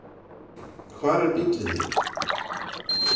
„Hvar er bíllinn þinn?“.